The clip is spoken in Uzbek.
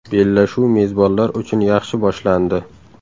Bellashuv mezbonlar uchun yaxshi boshlandi.